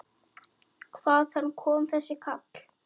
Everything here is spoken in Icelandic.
Hvaðan kom þessi kall?